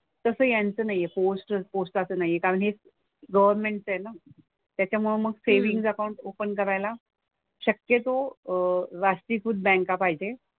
तसं यांचं नाही आहे. पोस्ट पोस्टाचं नाही आहे कारण हे गव्हर्नमेंटचं आहे ना. त्याच्यामुळे मग सेविंग्ज अकाउंट ओपन करायला शक्यतो अह राष्ट्रीयीकृत बँका पाहिजेत.